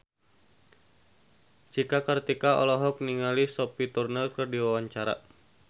Cika Kartika olohok ningali Sophie Turner keur diwawancara